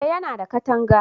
eh ya na da katanga